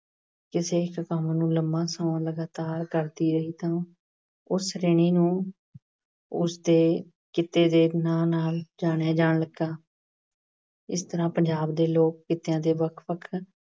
ਕਿਸੇ ਇੱਕ ਕੰਮ ਨੂੰ ਲੰਬਾ ਸਮਾਂ ਲਗਾਤਾਰ ਕਰਦੀ ਰਹੀ, ਤਾਂ ਉਸ ਸ਼੍ਰੇਣੀ ਨੂੰ ਉਸ ਦੇ ਕਿੱਤੇ ਦੇ ਨਾਂ ਨਾਲ ਜਾਣਿਆ ਜਾਣ ਲੱਗਾ। ਇਸ ਤਰ੍ਹਾਂ ਪੰਜਾਬ ਦੇ ਲੋਕ ਕਿੱਤਿਆ ਦੇ ਵੱਖ-ਵੱਖ